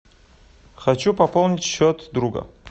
хочу пополнить счет друга